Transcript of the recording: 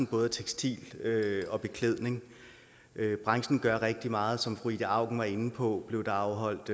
både tekstiler og beklædning branchen gør rigtig meget som fru ida auken var inde på blev der afholdt